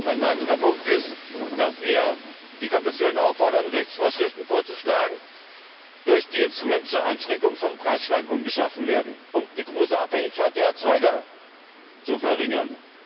Ein weiterer Punkt ist, dass wir die Kommission auffordern, Rechtsvorschriften vorzuschlagen, durch die Instrumente zur Einschränkung von Preisschwankungen geschaffen werden, um die große Abhängigkeit der Erzeuger zu verringern.